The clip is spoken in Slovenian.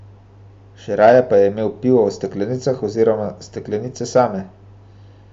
Še raje pa je imel pivo v steklenicah oziroma steklenice same.